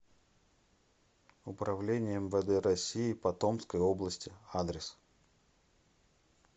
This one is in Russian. управление мвд россии по томской области адрес